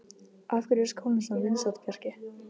Af hverju er skólinn svona vinsæll, Bjarki?